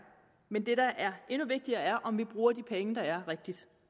men det der er endnu vigtigere er om vi bruger de penge der er rigtigt